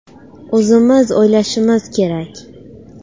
O‘zimiz o‘ylashimiz kerak.